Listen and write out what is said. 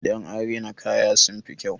Idan an rina kaya sun fi kyau.